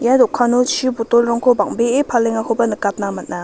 ia dokano chu botolrangko bang·bee palengakoba nikatna man·a.